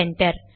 enter